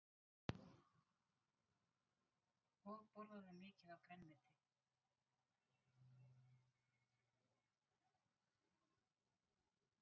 Breki Logason: Og borðarðu mikið af grænmeti?